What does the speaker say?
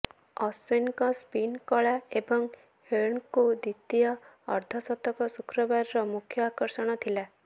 ଅଶ୍ବିନଙ୍କ spin କଳା ଏବଂ ହେଡ୍ଙ୍କ ଦ୍ବିତୀୟ ଅର୍ଧଶତକ ଶୁକ୍ରବାରର ମୁଖ୍ୟ ଆକର୍ଷଣ ଥିଲା